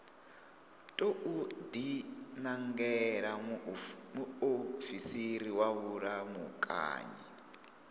tou dinangela muofisiri wa vhulamukanyi